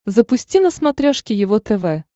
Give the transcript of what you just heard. запусти на смотрешке его тв